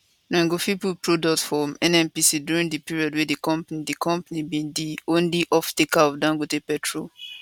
dem go fit collect product from nnpc during di period wey di company di company be di only offtaker of dangote petrol